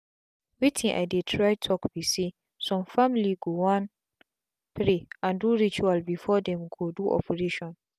wetin i dey try talk be saysome family go wan pray and do rituals before them go do operation.